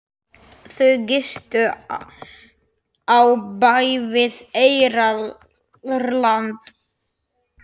Þau gistu á bæ við Eyrarland.